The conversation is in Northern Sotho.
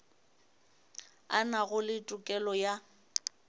a nago le tokelo ya